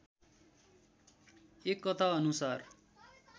एक कथा अनुसार